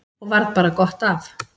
Og varð bara gott af.